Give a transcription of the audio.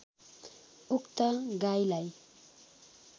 उक्त गाईलाई